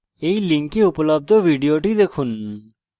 এই link উপলব্ধ video দেখুন